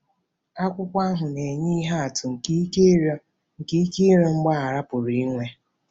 Akwụkwọ ahụ na-enye ihe atụ nke ike ịrịọ nke ike ịrịọ mgbaghara pụrụ inwe.